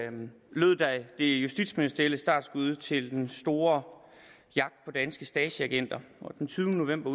lød det justitsministerielle startskud til den store jagt på danske stasiagenter og den tyvende november